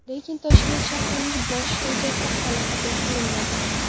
Lekin Toshkent shahrining bosh rejasi hali qabul qilinmadi.